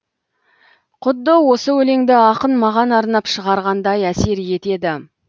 құдды осы өлеңді ақын маған арнап шығарғандай әсер етеді